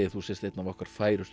þú sért einn af okkar færustu